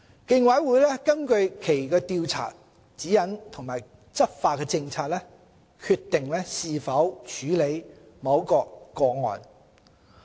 競委會根據其《調查指引》及《執法政策》，決定是否處理某個案。